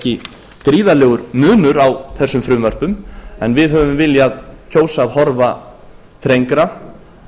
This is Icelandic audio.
ekki gríðarlegur munur á þessum frumvörpum en við höfum viljað kjósa að horfa þrengra